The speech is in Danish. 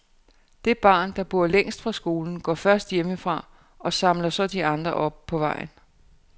Det barn, der bor længst fra skole, går først hjemmefra og samler så de andre op på vejen.